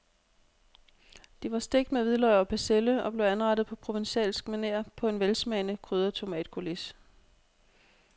De var stegt med hvidløg og persille og blev anrettet på provencalsk maner på en velsmagende krydret tomatcoulis.